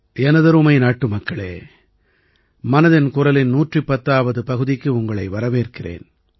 எனதருமை நாட்டுமக்களே மனதின் குரலின் 110ஆவது பகுதிக்கு உங்களை வரவேற்கிறேன்